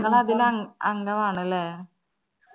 അതില് അങ് അംഗമാണല്ലേ